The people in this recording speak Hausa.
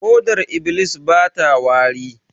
Hodar iblis bata wari